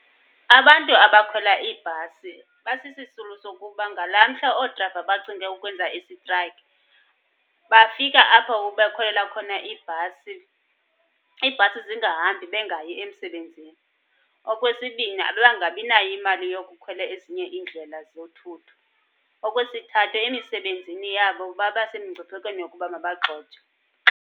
Abantu abakhwela iibhasi basisisulu sokuba ngalaa mhla oodrayiva bacinge ukwenza isitrayikhi, bafika apho bakhwelela khona iibhasi, iibhasi zingahambi bengayi emsebenzini. Okwesibini, babangabinayo imali yokukhwela ezinye iindlela zothutho. Okwesithathu, emisebenzini yabo babasemingciphekweni yokuba mabagxothwe.